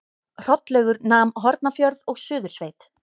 Hrollaugur nam Hornafjörð og Suðursveit.